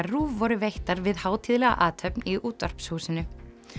RÚV voru veittar við hátíðlega athöfn í Útvarpshúsinu